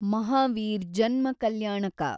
ಮಹಾವೀರ್ ಜನ್ಮ ಕಲ್ಯಾಣಕ